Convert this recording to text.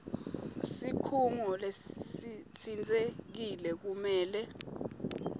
sikhungo lesitsintsekile kumele